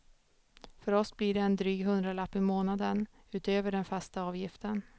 För oss blir det en dryg hundralapp i månaden, utöver den fasta avgiften.